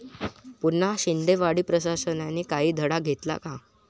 पुन्हा शिंदेवाडी!, प्रशासनाने काही धडा घेतला का?